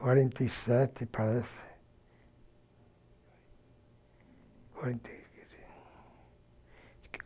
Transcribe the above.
Quarenta e sete, parece. Quarenta e